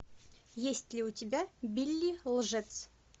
есть ли у тебя билли лжец